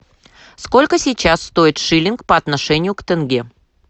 сколько сейчас стоит шиллинг по отношению к тенге